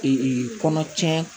kɔnɔ cɛn